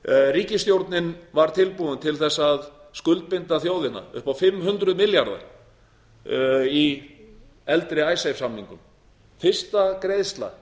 ríkisstjórnin var tilbúin til að skuldbinda þjóðina upp á fimm hundruð milljarða í eldri icesave samningum fyrsta greiðsla